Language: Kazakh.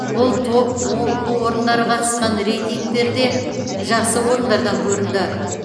бұл топ оқу орындары қатысқан рейтингтерде жақсы орындардан көрінді